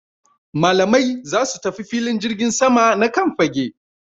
Malamai za su tafi filin jirgin sama na Kan fage